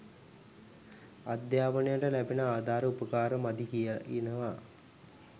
අධ්‍යාපනයට ලැබෙන ආධාර උපකාර මදි කියලා කියනවා